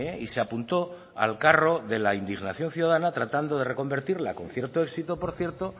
y se apuntó al carro de la indignación ciudadana tratando de reconvertirla con cierto éxito por cierto